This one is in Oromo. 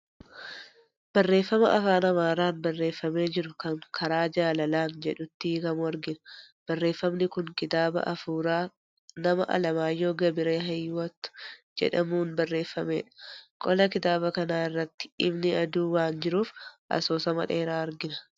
Barreeffama afaan Amaaraan barreeffamee jiru kan "Karaa jaalalaan" jedhutti hiikamu argina. Barreeffamni kun kitaaba hafuuraa nama Alamaayyoo Gabiree Hiyyiwoot jedhamuun barreeffamedha. Qola kitaaba kanaa irratti ifni aduu waan jiruuf, asoosama dheeraa argina.